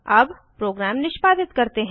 अब प्रोग्राम निष्पादित करते हैं